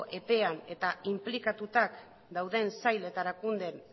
epean eta inplikatuta dauden sail eta